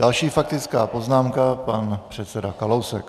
Další faktická poznámka, pan předseda Kalousek.